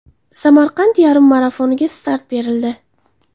Samarqand yarim marafoniga start berildi.